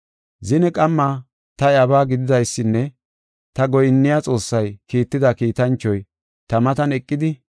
Zine qamma ta iyabaa gididaysinne ta goyinniya Xoossay kiitida kiitanchoy ta matan eqidi,